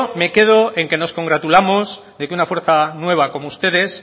me quedo en que nos congratulamos de que una fuerza nueva como ustedes